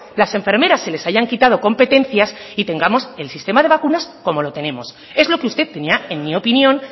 las enfermeras se les hayan quitado competencias y tengamos el sistema de vacunas como lo tenemos es lo que usted tenía en mi opinión